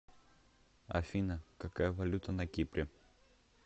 афина какая валюта на кипре